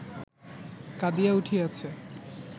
কাঁদিয়া উঠিয়াছে